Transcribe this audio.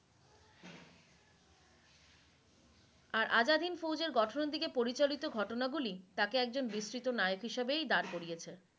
আর আজাদিন ফৌজের গঠনের দিকে পরিচালিত ঘটনা গুলি তাকে একজন বিস্তৃত নায়ক হিসেবেই দ্বার করিয়েছে।